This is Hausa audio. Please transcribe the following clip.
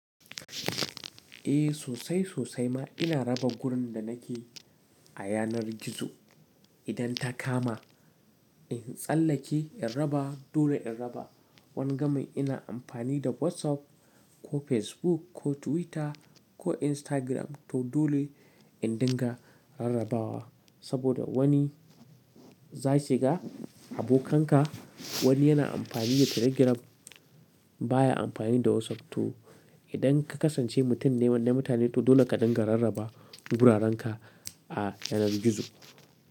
Eh sosai sosai ma ina raba gurin da nake a yanar gizo. Idan ta kama in tsallake in raba dole in raba. Wanga mai ina amfani da WhatsApp ko Facebook ko Twitter ko Instagram to dole in dinga rarrabawa. Saboda wani zai shiga abokanka wani yana amfani da Telegram baya amfani da WhatsApp. To idan ka kasance mutum ne na mutane to dole ka dinga rarraba gurarenka a yanar gizo.